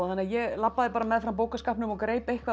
ég labbaði meðfram bókaskápnum og greip eitthvað